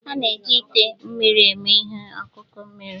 A na-eji ite mmiri eme ihe ọkụkụ mmiri.